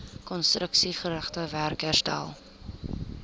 konstruksiegerigte werk herstel